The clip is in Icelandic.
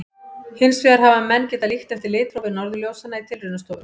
Hins vegar hafa menn getað líkt eftir litrófi norðurljósanna í tilraunastofum.